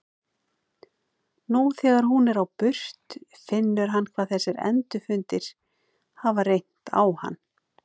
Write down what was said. Nú þegar hún er á burt finnur hann hvað þessir endurfundir hafa reynt á hann.